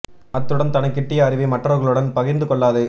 அத்துடன் தனக்குக் கிட்டிய அறிவை மற்றவர்களுடன் பகிர்ந்து கொள்ளாது